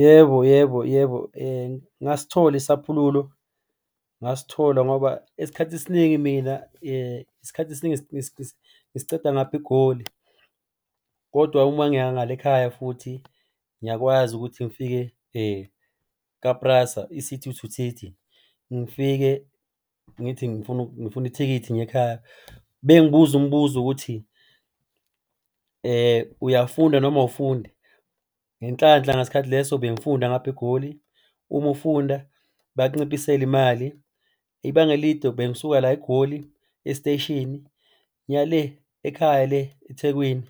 Yebo yebo yebo, ngasithola isaphululo. Ngasithola ngoba esikhathi esiningi mina isikhathi esiningi ngisiceda ngapha eGoli kodwa uma ngiya ngale ekhaya futhi ngiyakwazi ukuthi ngifike ka-PRASA, City-to-City ngifike ngithi ngifuna ithikithi ngiye ekhaya. Bengibuze umbuzo ukuthi uyafunda noma awufundi? Ngenhlanhla ngasikhathi leso bengifunda ngapha eGoli. Uma ufunda bayakunciphisela imali. Ibanga elide bengisuka la eGoli esiteshini ngiya le ekhaya le eThekwini,